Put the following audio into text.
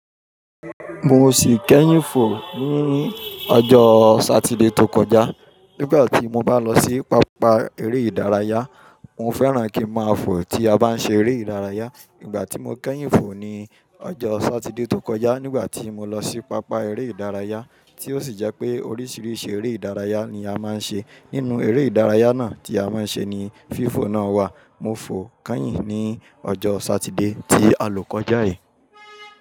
Mo sì kẹ́yìn fò ní ọjọ́ Saturday tó kọjá. Nígbà tí mo bá lọ sí pápá eré ìdárayá, mo fẹ́ràn kí n máa fò tí a bá ń ṣe eré ìdárayá. Ìgbà tí mo kẹ́yìn fò ni ọjọ́ Satide tó kọjá nígbà tí mo lọ sí pápá eré ìdárayá tí ó sì jẹ́ pé oríṣiríṣi eré ìdárayá ni a máa ń ṣe. Nínú eré ìdárayá náà tí a máa ń ṣe ni fífò náà wà. Mo fò kẹ́yìn ní ọjọ́ Satide tí alò kọjá yìí.